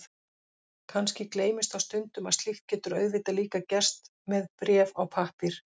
Kannski gleymist þá stundum að slíkt getur auðvitað líka gerst með bréf á pappír.